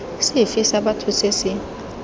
sefe sa batho se se